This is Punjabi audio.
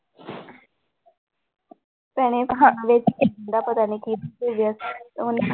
ਭੈਣੇ ਪਤਾ ਨੀ ਕਿਹਦੇ ਤੇ ਗਿਆ ਉਹਨੇ